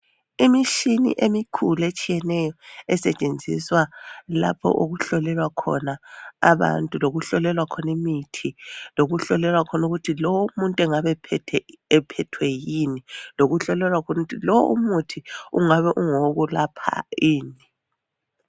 Imishini emikhulu etshiyeneyo esetshenziswa lapho okuhlolelwa khona abantu, lokuhlolelwa khona imithi, lokuhlolelwa khona ukuthi lowo umuntu engabe ephethwe yini, lokuhlolelwa ukuthi lowo umuthi ungabe ungowokulapha ini .